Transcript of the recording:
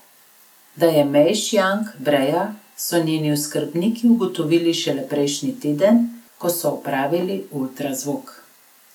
Da je Mej Šjang breja, so njeni oskrbniki ugotovili šele prejšnji teden, ko so opravili ultrazvok.